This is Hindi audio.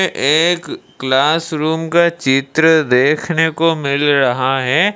ये एक क्लास रूम का चित्र देखने को मिल रहा है।